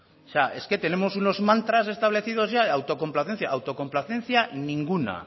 es que tenemos unos mantras establecidos ya de autocomplacencia autocomplacencia ninguna